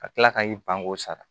Ka tila ka i ban k'o sara